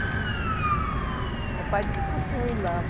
O papai disse que era para senhor ir lá.